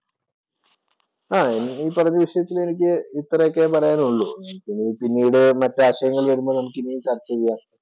ആഹ് ഈ പറഞ്ഞ വിഷയത്തില്‍ എനിക്ക് ഇത്രയൊക്കെ പറയാന്‍ ഉള്ളൂ. ഇനി പിന്നീടു മറ്റു ആശയങ്ങള്‍ വരുമ്പോള്‍ നമുക്ക് ഇനിയും ചര്‍ച്ച ചെയ്യാം.